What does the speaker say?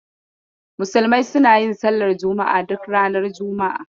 Musulmai suna yin sallar juma'a duk ranar juma'a.